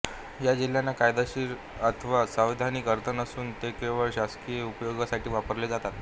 ह्या जिल्ह्यांना कायदेशीर अथवा संविधानिक अर्थ नसून ते केवळ शासकीय उपयोगासाठी वापरले जातात